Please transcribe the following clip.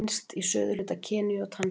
Finnst í suðurhluta Keníu og Tansaníu.